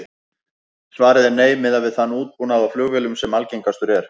Svarið er nei, miðað við þann útbúnað á flugvélum sem algengastur er.